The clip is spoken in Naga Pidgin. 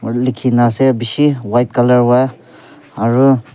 aru likhina ase bishi white colour wra aro--